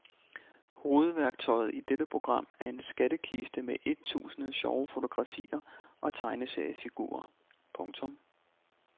Hovedværktøjet i dette program er en skattekiste med ettusinde sjove fotografier og tegneseriefigurer. punktum